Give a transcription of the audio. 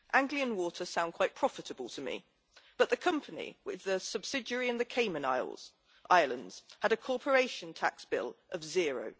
Anglian Water sounds quite profitable to me but the company, with a subsidiary in the Cayman Islands, had a corporation tax bill of zero.